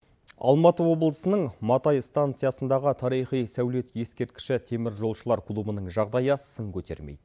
алматы облысының матай станциясындағы тарихи сәулет ескерткіші теміржолшылар клубының жағдайы сын көтермейді